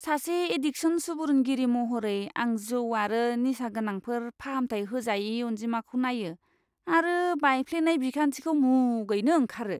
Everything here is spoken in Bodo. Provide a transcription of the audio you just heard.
सासे एडिकसन सुबुरुनगिरि महरै, आं जौ आरो निसागोनांफोर फाहामथाय होजायै अनजिमाखौ नायो आरो बायफ्लेनाय बिखान्थिखौ मुगैनो ओंखारो।